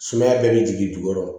Sumaya bɛɛ bɛ jigin dugu kɔrɔ